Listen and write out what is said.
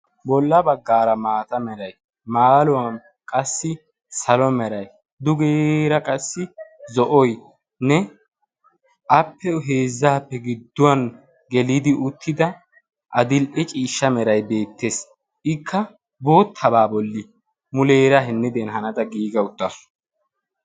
Bolla baggaara maata meeray maaluwaan qassi salo meeray dugeera qassi zo'oynne appe heezzaappe gidduwaan geelidi uttida adil"e ciishsha meeray beettees. akka boottaabaa bolli muleera hinniden haanada giiga uttaasu.